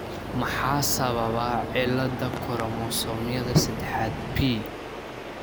Maxaa sababa cilada koromosoomyada sedexad p ?